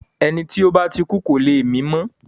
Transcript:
Ẹni tí ó bá ti kú kò le mí mọ́.